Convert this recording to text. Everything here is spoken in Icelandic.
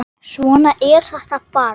Svona er þetta bara.